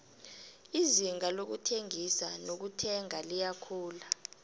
izinga lokuthengisa nelokuthenga liyakhula